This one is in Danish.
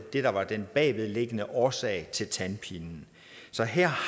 var den bagvedliggende årsag til tandpinen så her